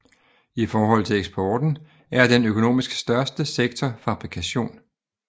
I forhold til eksporten er den økonomisk største sektor fabrikation